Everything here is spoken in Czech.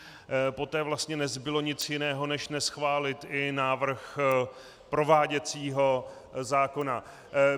Poté vlastně nezbylo nic jiného než neschválit i návrh prováděcího zákona.